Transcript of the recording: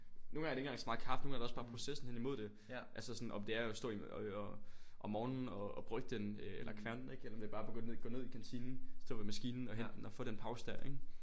Nogle gange er det ikke engang så meget kaffen nogle gange er det også bare processen hen imod det altså om det er at stå øh øh om morgenen og og brygge den øh eller kværne den ikke eller om det er bare at gå ned gå ned i kantinen stå ved maskinen og hente den og få den der pause der ik